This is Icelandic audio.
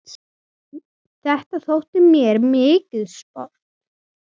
Þetta þótti mér mikið sport.